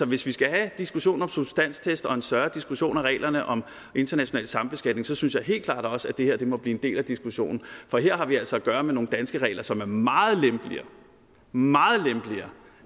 hvis vi skal have en diskussion om substanstest og en større diskussion af reglerne om international sambeskatning synes jeg helt klart også at det her må blive en del af diskussionen for her har vi altså at gøre med nogle danske regler som er meget lempeligere meget lempeligere